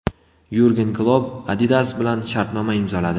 Yurgen Klopp Adidas bilan shartnoma imzoladi.